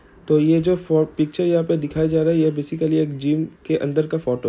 तो ये जो फो-पिक्चर यहाँ पे दिखाया जा रहा है ये बेसिकली एक जिम के अंदर का फोटो --